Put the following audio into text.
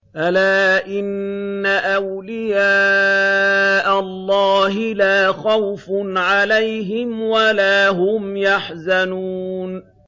أَلَا إِنَّ أَوْلِيَاءَ اللَّهِ لَا خَوْفٌ عَلَيْهِمْ وَلَا هُمْ يَحْزَنُونَ